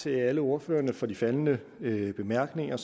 til alle ordførerne for de faldne bemærkninger